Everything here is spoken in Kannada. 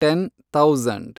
ten thousand